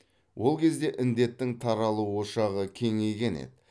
ол кезде індеттің таралу ошағы кеңейген еді